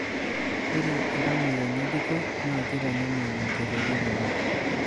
Ore iltamoyia ng'ejuko naa keitanyamal olkereti ng'ejuk.